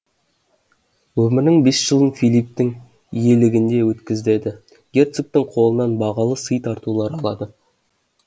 өмірінің бес жылын филипптің иелігінде өткізеді герцогтың қолынан бағалы сый тартулар алады